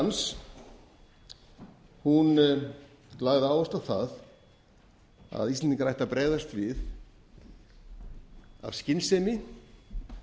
málsvari ræða hans hún lagði áherslu á það að íslendingar ættu að bregðast við af skynsemi